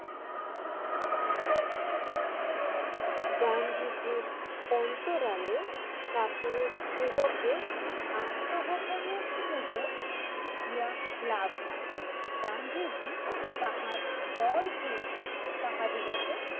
গান্ধীজির অন্তরালে কাপুরুষদেহ কে আত্মগোপন এর সুযোগ দিয়া লাভ নাই, গান্ধীজি তাহার দল হইতে তাহাদিগকে